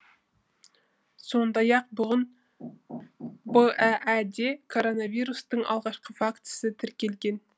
сондай ақ бүгін баә де коронавирустың алғашқы фактісі тіркелген